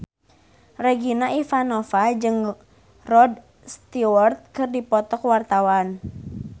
Regina Ivanova jeung Rod Stewart keur dipoto ku wartawan